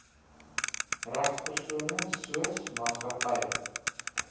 regspersone soos maatskappye